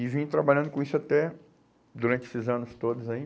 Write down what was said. E vim trabalhando com isso até, durante esses anos todos aí.